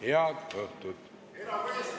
Head õhtut!